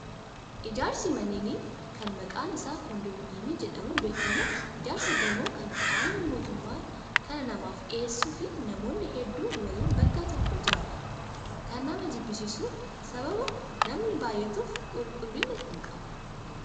Ijaarsi manneenii kan maqaan isaa kondiiminiyeemii jedhamuun beekamu ijaarsa gamoo kan qaamni mootummaa kan namaaf dhiyeessuu fi namoonni hedduun waliin bakka tokko jiraatu. Kan nama jibbisiisu sababa namni baay'atuuf qulqullina hin qabu.